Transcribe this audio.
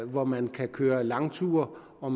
hvor man kan køre langture og